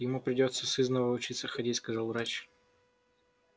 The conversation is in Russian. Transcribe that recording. ему придётся сызнова учиться ходить сказал врач